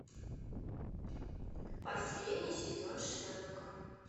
последний сезон шерлока